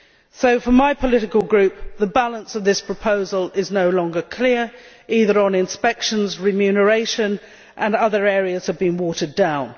So, for my political group, the balance of this proposal is no longer clear either on inspections or remuneration, and other areas have been watered down.